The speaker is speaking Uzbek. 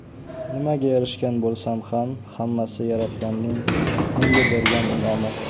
Nimaga erishgan bo‘lsam ham, hammasi Yaratganning menga bergan in’omi.